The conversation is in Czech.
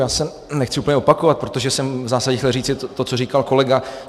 Já se nechci úplně opakovat, protože jsem v zásadě chtěl říci to, co říkal kolega.